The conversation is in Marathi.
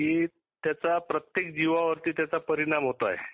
की त्याचा प्रत्येक जीवावरती त्याचा परिणाम होत आहे.